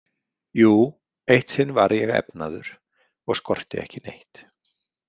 Jú, eitt sinn var ég efnaður og skorti ekki neitt.